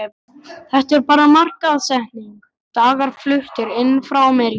Þetta er bara markaðssetning, dagar fluttir inn frá ameríku.